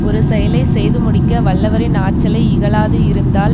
ஒரு செயலை செய்து முடிக்க வல்லவரின் ஆற்றலை இகழாது இருந்தால்